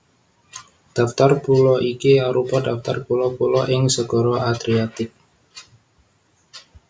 Daftar pulo iki arupa daftar pulo pulo ing Segara Adriatik